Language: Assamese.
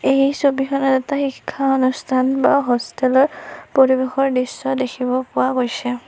এই ছবিখনত এটা শিক্ষা অনুষ্ঠান বা হোষ্টেল ৰ পৰিবেশৰ দৃশ্য দেখিব পোৱা গৈছে।